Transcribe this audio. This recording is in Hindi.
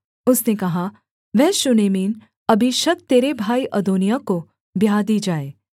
उसने कहा वह शूनेमिन अबीशग तेरे भाई अदोनिय्याह को ब्याह दी जाए